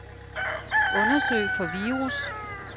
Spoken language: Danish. Undersøg for virus.